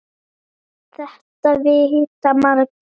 Þetta vita margir.